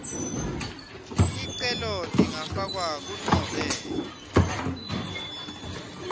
ticelo tingafakwa kunobe